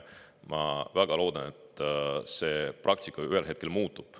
Ma väga loodan, et see praktika ühel hetkel muutub.